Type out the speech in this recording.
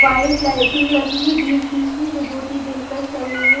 White lighting लगी हुई बीच बीच में जो कि बहुत ही दिलकश लग रही है।